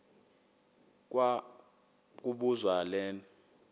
kwa kobuzwa le